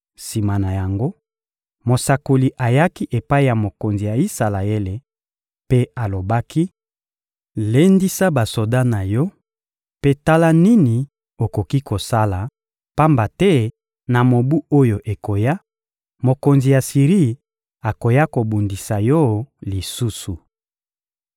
Sima na yango, mosakoli ayaki epai ya mokonzi ya Isalaele mpe alobaki: — Lendisa basoda na yo mpe tala nini okoki kosala, pamba te na mobu oyo ekoya, mokonzi ya Siri akoya kobundisa yo lisusu.